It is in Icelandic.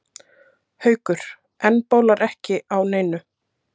Haukur: En bólar ekki á neinu?